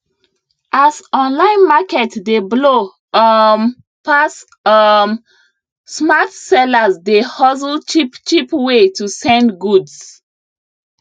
as online market dey blow um pass um smart sellers dey hustle cheapcheap way to send goods